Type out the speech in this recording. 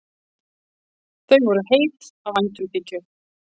Þau voru heit af væntumþykju.